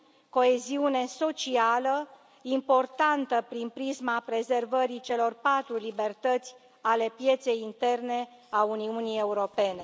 coeziune socială, importantă prin prisma prezervării celor patru libertăți ale pieței interne a Uniunii Europene.